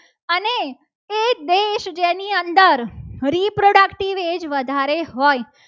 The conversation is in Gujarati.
અંદર reproductive age વધારે હોય.